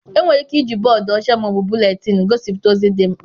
Enwere ike iji bọọdụ ọcha ma ọ bụ buletiinu gosipụta ozi dị mkpa.